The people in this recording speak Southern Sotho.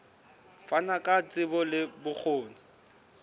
fana ka tsebo le bokgoni